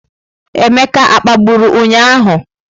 Emeka a kpagburu ụnyahụ?